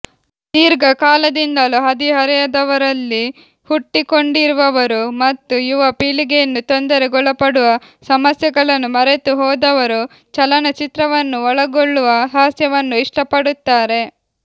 ದೀರ್ಘಕಾಲದಿಂದಲೂ ಹದಿಹರೆಯದವರಲ್ಲಿ ಹುಟ್ಟಿಕೊಂಡಿರುವವರು ಮತ್ತು ಯುವ ಪೀಳಿಗೆಯನ್ನು ತೊಂದರೆಗೊಳಪಡುವ ಸಮಸ್ಯೆಗಳನ್ನು ಮರೆತುಹೋದವರು ಚಲನಚಿತ್ರವನ್ನು ಒಳಗೊಳ್ಳುವ ಹಾಸ್ಯವನ್ನು ಇಷ್ಟಪಡುತ್ತಾರೆ